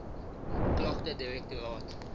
klagtedirektoraat